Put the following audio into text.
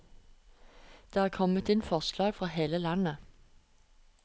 Det er kommet inn forslag fra hele landet.